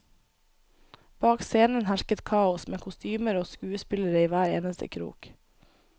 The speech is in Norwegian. Bak scenen hersket kaos, med kostymer og skuespillere i hver eneste krok.